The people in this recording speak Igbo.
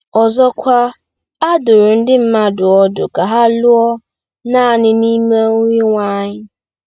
Ọzọkwa, a dụrụ ndị mmadụ ọdụ ka ha lụọ “naanị n’ime Onyenwe anyị .”